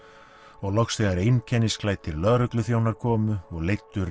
og loks þegar einkennisklæddir lögregluþjónar komu og leiddu